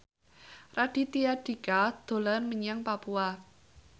Raditya Dika dolan menyang Papua